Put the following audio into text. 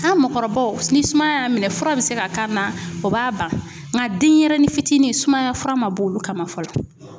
An mɔkɔrɔbaw ni sumaya y'an minɛ fura bɛ se ka k'an na o b'a ban nka denyɛrɛnin fitini sumaya fura man bɔ olu kama fɔlɔ.